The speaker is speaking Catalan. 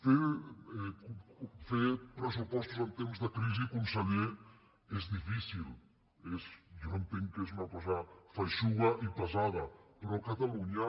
fer pressupostos en temps de crisi conseller és difí·cil jo entenc que és una cosa feixuga i pesada però a catalunya